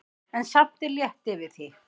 En samt er létt yfir því.